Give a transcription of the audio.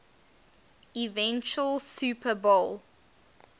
eventual super bowl